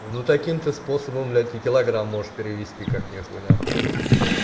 ну таким-то способом блять и килограмм можешь перевести как нехуй нахуй